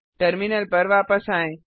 terminal पर वापस आएँ